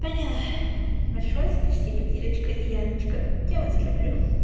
поняла большое спасибо ирочка и яночка я вас люблю